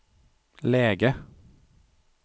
läge